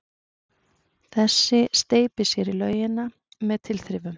Þessi steypir sér í laugina með tilþrifum.